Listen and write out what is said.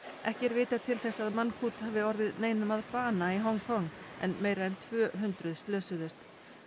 ekki er vitað til þess að hafi orðið neinum að bana í Hong Kong en meira en tvö hundruð slösuðust